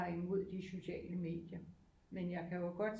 Har imod de sociale medier men jeg kan jo godt